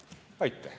Tänan!